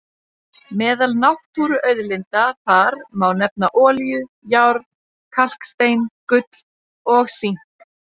Meðal náttúruauðlinda þar má nefna olíu, járn, kalkstein, gull og sink.